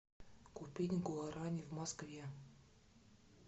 купить гуарани в москве